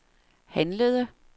handlede